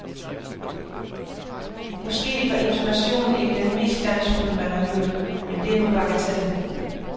Måske var intonationen ikke den mest glansfulde, man har hørt, men det er nu bagateller.